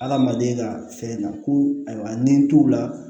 Adamaden ka fɛn na ko ayiwa nin t'u la